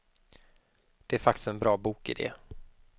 Det är faktiskt en bra bokidé.